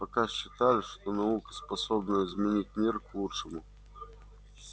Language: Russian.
пока считали что наука способна изменить мир к лучшему